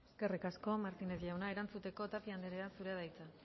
eskerrik asko martínez jauna erantzuteko tapia anderea zurea da hitza